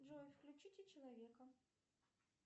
джой включите человека